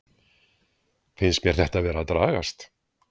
Finnst mér þetta vera að dragast?